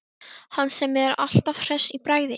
Hann sem er alltaf hress í bragði.